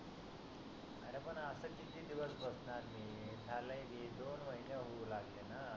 अरे पण आस किती दिवस बसणार मी झाले की दोन महीने होऊ लागले न